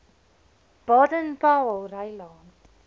baden powellrylaan